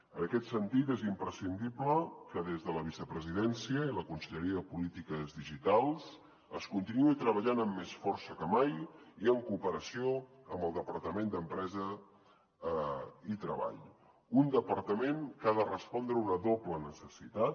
en aquest sentit és imprescindible que des de la vicepresidència i la conselleria de polítiques digitals es continuï treballant amb més força que mai i en cooperació amb el departament d’empresa i treball un departament que ha de respondre a una doble necessitat